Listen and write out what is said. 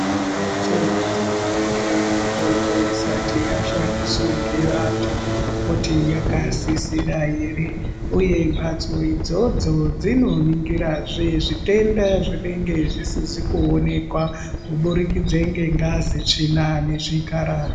Mhatso dzinoningire mitombo isati yashandiswa ngevantu kuti yakasisira ere uye mhatso idzodzo dzinoningirazve zvitenda zvinenge zvisizi kuonekwa kuburikidza ngengazi, tsvina nezvikararwa